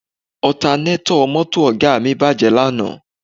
Ọtanétọ̀ mọ́tò Ọ̀ga mi bàjẹ́ lánàá